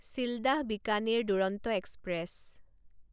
Sealdah Bikaner Duronto express